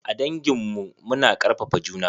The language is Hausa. A dangin mu. Mu na karfafa juna.